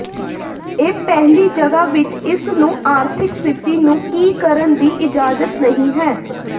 ਇਹ ਪਹਿਲੀ ਜਗ੍ਹਾ ਵਿੱਚ ਇਸ ਨੂੰ ਆਰਥਿਕ ਸਥਿਤੀ ਨੂੰ ਕੀ ਕਰਨ ਦੀ ਇਜਾਜ਼ਤ ਨਹੀ ਹੈ